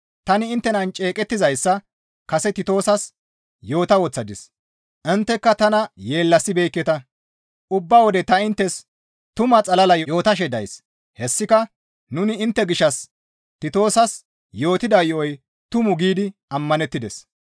Tani inttenan ceeqettizayssa kase Titoosas yoota woththadis; intteka tana yeellasibeekketa; ubba wode ta inttes tuma xalala yootashe days; hessika nuni intte gishshas Titoosas yootida yo7oy tumu giidi ammanettides.